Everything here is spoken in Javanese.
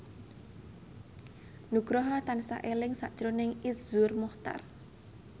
Nugroho tansah eling sakjroning Iszur Muchtar